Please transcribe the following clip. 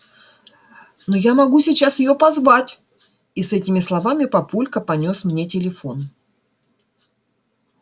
но я могу сейчас её позвать и с этими словами папулька понёс мне телефон